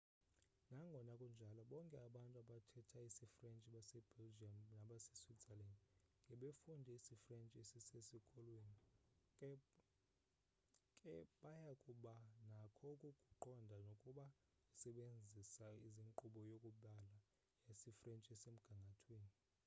nangona kunjalo bonke abantu abathetha isifrentshi basebelgium nabaseswitzerland ngebefunde isifrentshi esisesikolweni ke baya kuba nakho ukukuqonda nokuba usebenzisa inkqubo yokubala yasefransi esemgangathweni